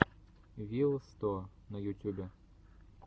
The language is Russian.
вил сто на ютюбе